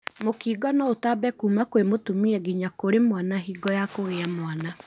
Mũkingo no ũtambe kũma kwĩ mũtumia nginya kũrĩ mwana hingo ya kũgĩa mwana.